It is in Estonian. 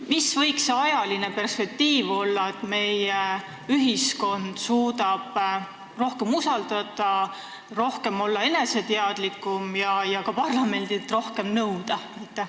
Mis võiks olla see ajaline perspektiiv, et meie ühiskond suudaks rohkem usaldada, olla eneseteadlikum ja ka parlamendilt rohkem nõuda?